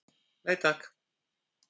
Nei takk.